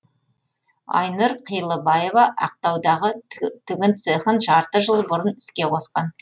айнұр қилыбаева ақтаудағы тігін цехын жарты жыл бұрын іске қосқан